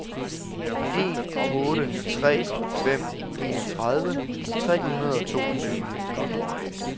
en otte tre fem enogtredive tre hundrede og toogtyve